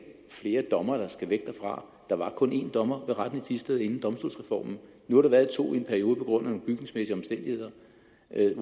flere dommere der skal væk derfra der var kun én dommer ved retten i thisted inden domstolsreformen nu har der været to i en periode på grund af nogle bygningsmæssige omstændigheder